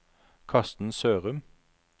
Karsten Sørum